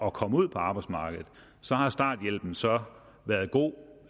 at komme ud på arbejdsmarkedet har starthjælpen så været god